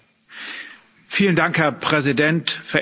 Herr Präsident, verehrte Abgeordnete!